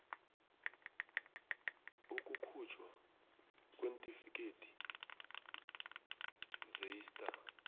ukukhujthwa kweentifikhethi zeista